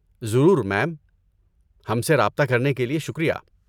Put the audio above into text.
ضرور، میم۔ ہم سے رابطہ کرنے کے لیے شکریہ۔